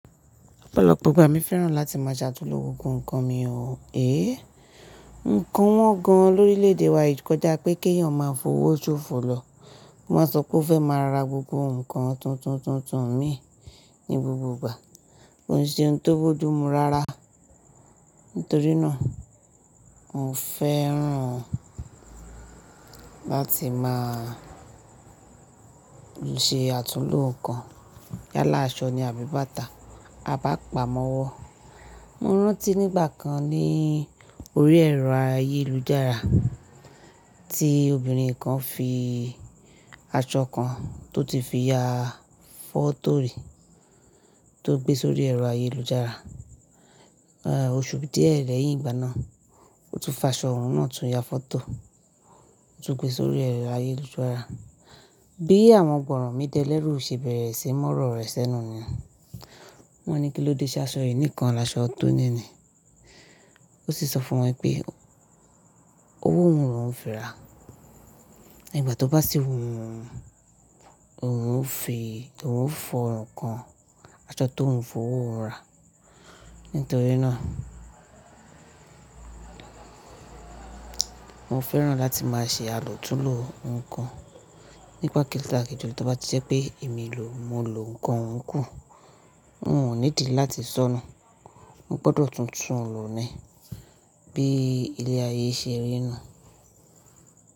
Emi fẹ́ràn láti máa ṣe àtúnlo gbogbo ǹkan mi o, eh! Ǹkan wọ́n gan lórílèèdè wa yi kọjá pé kéyàn máa fowó sófo lọ. Wọ́n a sọ pé ó fẹ́ máa ra gbogbo ǹkan tuntun tuntun mii ní gbogbo ìgbà, kò ń ṣe ohun tó boju mu rárá. Nítorí náà, mò fẹ́ràn láti máa ṣe àtúnlo ǹkan. Yálà aṣọ ni a bí bàtà, a bi ápamọ́wọ́. Mo rántí ní ìgbà kan ní orí ẹ̀rọ ayélujára tí obìnrin kan fi aṣọ kan tó ti fi ya fọ́tò ri tó gbé sórí ẹ̀rọ ayélujára. Oṣù díẹ̀ lẹ́yìn ìgbà náà, ó tún fa aṣọ òun náà tún ya fọ́tò, ó tún gbé sórí ẹ̀rọ ayélujára. Bí àwọn ọ̀ro mi delẹ̀ rú ṣe bẹ̀rẹ̀ síí mu oro rẹ̀ sẹ́nu niyen. Wọ́n ní kí ló dé ṣé aṣọ yìí nìkan laṣọ tó níni. Ó sì sọ fún wọn pé owó òhun lóuń fi ra, igbà tó bá sì wu òhun, òun ó fi, òhun ó fi orun kan aṣọ tóuń fowó ohun ra. Nítorí náà, mo fẹ́ràn láti máa ṣe àlòtúnlò ǹkan nípa kíló takíjó tó bá jẹ́ pé èmi lò, mo lo ǹkan ohun kún, mi o nídi láti sọ́nu Mo gbọ́dọ̀ tuntun lòó ni bí ilé ayé ṣe rí nu un.